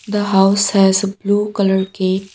the house has blue colour gate.